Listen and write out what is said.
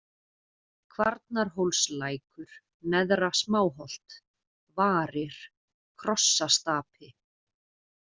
Kvarnarhólslækur, Neðra-Smáholt, Varir, Krossastapi